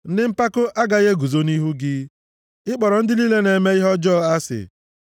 Ndị mpako agaghị eguzo nʼihu gị. Ị kpọrọ ndị niile na-eme ihe ọjọọ asị.